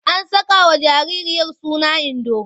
An sakawa jaririya suna Indo.